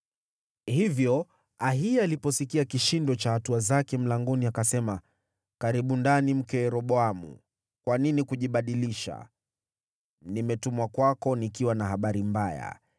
Hivyo Ahiya aliposikia kishindo cha hatua zake mlangoni, akasema, “Karibu ndani, mke wa Yeroboamu. Kwa nini kujibadilisha? Nimetumwa kwako nikiwa na habari mbaya.